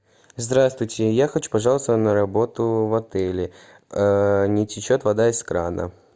здравствуйте я хочу пожаловаться на работу в отеле не течет вода из крана